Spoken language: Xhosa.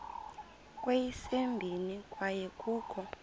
kweyesibini kwaye kukho